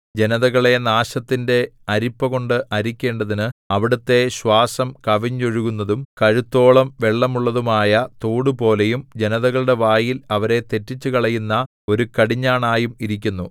ജനതകളെ നാശത്തിന്റെ അരിപ്പകൊണ്ട് അരിക്കേണ്ടതിന് അവിടുത്തെ ശ്വാസം കവിഞ്ഞൊഴുകുന്നതും കഴുത്തോളം വെള്ളമുള്ളതും ആയ തോടുപോലെയും ജനതകളുടെ വായിൽ അവരെ തെറ്റിച്ചുകളയുന്ന ഒരു കടിഞ്ഞാണായും ഇരിക്കുന്നു